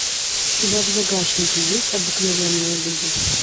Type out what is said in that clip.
у тебя в загашнике есть обыкновенные люди